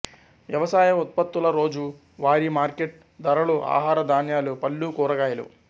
వ్యవసాయ ఉత్పత్తుల రోజూ వారి మార్కెట్ ధరలు ఆహార ధాన్యాలు పళ్ళు కూరగాయలు